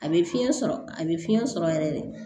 A bɛ fiɲɛ sɔrɔ a bɛ fiɲɛ sɔrɔ yɛrɛ de